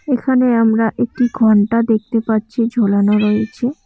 এখানে আমরা একটি ঘন্টা দেখতে পাচ্ছি ঝোলানো রয়েছে।